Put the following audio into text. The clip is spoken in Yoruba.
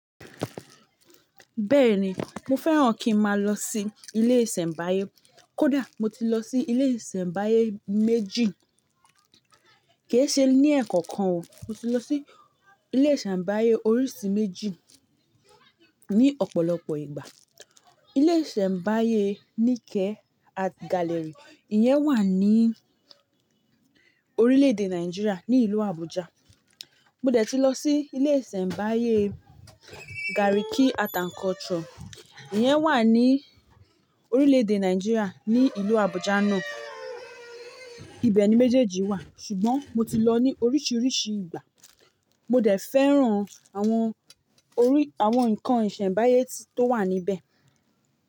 Bẹ́ẹ̀ni, mo fẹ́ràn kí n máa lọ sí ilé ìsẹ̀mbáyé. Kódà mo ti lọ sí ilé ìsẹ̀mbáyé méjì, kee ṣe ní ẹ̀ẹ̀kọ̀kan o. Mo ti lọ sí ilé ìsẹ̀mbáyé oríṣi méjì ní ọ̀pọ̀lọpọ̀ ìgbà. Ilé ìsẹ̀mbáyé Nike Art Gallery, ìyẹn wà ní orílẹ̀ èdè Nàìjíríà, ní ìlú Àbújá. Mo dẹ̀ ti lọ sí ilé ìsẹ̀mbáyé Garki Art and Culture, ìyẹn wà ní orílẹ̀ èdè Nàìjíríà ní ìlú Àbújá náà. Ibẹ̀ ni méjèèjì wà, ṣùgbọ́n mo ti lọ ní oríṣiríṣi ìgbà. Mo dẹ̀ fẹ́ràn àwọn orí-- àwọn nǹkan ìsẹ̀mbáyé tó wà níbẹ̀.